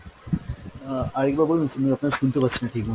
আহ আরেকবার বলুন শুনতে পাচ্ছিনা ঠিক মতো ।